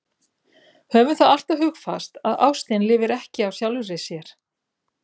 Höfum það alltaf hugfast að ástin lifir ekki af sjálfri sér.